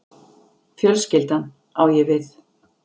Fjölskyldan, á ég við